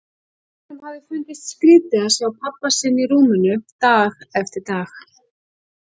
Honum hafði fundist skrítið að sjá pabba sinn í rúminu dag eftir dag.